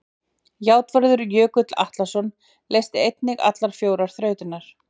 Játvarður Jökull Atlason leysti einnig allar fjórar þrautirnar.